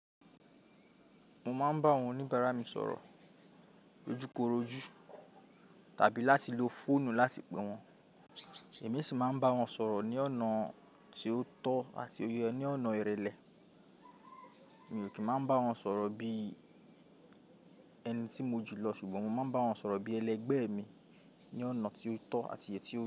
Mo máa ń bá àwọn oníbàárà mi sọ̀rọ̀ ojúkorojú tàbí láti lo fóònù láti pè wọ́n. Èmi sì máa ń bá wọn sọ̀rọ̀ ní ọ̀nà tí ó tọ́ àti ní ọ̀nà ìrẹlẹ. Mi ò kí máa bá wọn sọ̀rọ̀ bíi ẹni tí mo jù lọ ṣùgbọ́n mo máa ń bá wọn sọ̀rọ̀ bí ẹlẹgbẹ́ mi ní ọ̀nà tí ó tọ́ àti èyí tí ó yẹ.